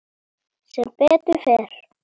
Sem betur fer?